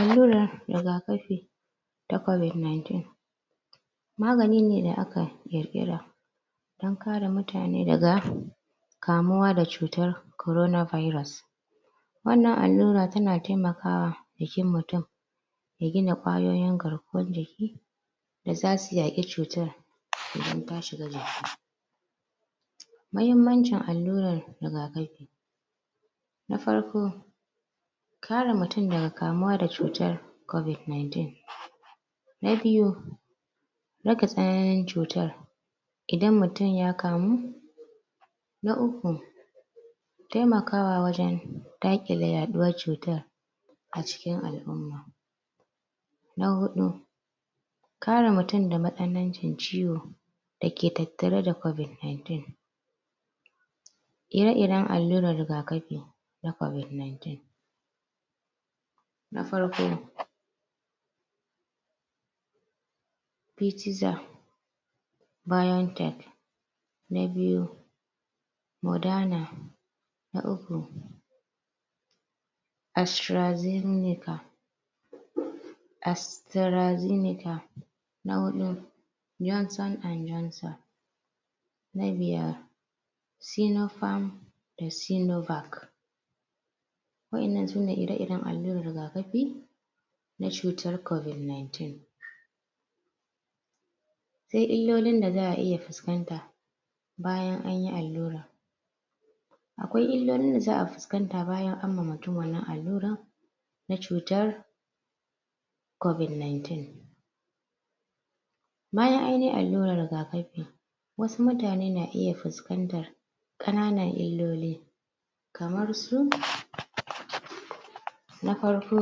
alura rigakafi ta covid 19 magani ne da aka girgira magani ne da aka kirkira an kare mutane daga kamuwa da cutar corona virus wannan alura ta na taimaka wa jikin mutum mai gina kwayoyin garkuwan jiki da za su iya ga cutar da za su iya? cutar idan idan ya shiga jiki muhimmancin alura rigakafi na farko kare mutum da kamuwan cutan covid 19 na biyu? tsananin cutan idan mutum ya kamu na uku taimakawa wajen takile? cutan a cikin al'uma na hudu kare mutum da masanancin ciwo da ke tattare da covid 19 ire iren alurar rigakafi na covid 19 na farko Pfizer BioNTech na biyu moderna na uku astrazeneca astrazeneca na hudu Johnson & Johnson na biyar tinopharm da cinovac wayannan su ne ire iren aluran rigakafi nacutar covid 19 sai ilolin da za'a iya fuskanta bayan an yi alura akwa iilolin da za'a fuskanta bayan an yi ma mutun wannan alura na cuta covid 19 bayan an yi alurar rigakafi wasu mutane na iyan fuskantan kananan iloli kamar su na farko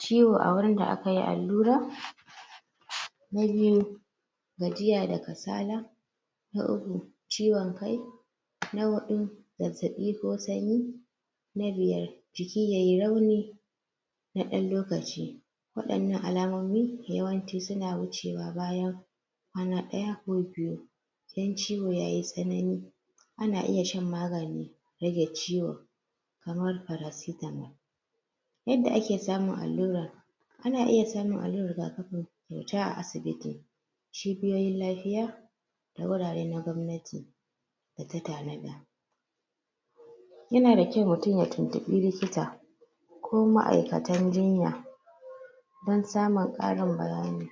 ciwo a wurin da aka yi alura na biyu gajiya da kasala na uku ciwon kai na hudu zazzabi ko sanyi na biyar jiki yayi rauni na dan lokaci wadannan alamomi yawanci su na wucewa bayan kwana daya ko biyu in ciwo yayi tasanani ana iya shan magani rage ciwo kamar paracetamol yadda ake samun alura ana iya samun alura rigakafi kyauta a asibiti cibiyoyin lafiya da wurare na gomnati da ta tanada ya na da kyau mutum ya tuntubi likita ko ma ma'aikatan jinya dan samin karin bayani